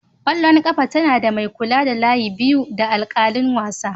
ƙwallon ƙafa tana da mai kula da layi biyu da alƙalin wasa.